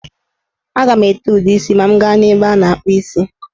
A ga m ete ude isi ma m gaa n'ebe a na-akpụ isi.